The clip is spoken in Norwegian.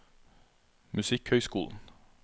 musikkhøyskolen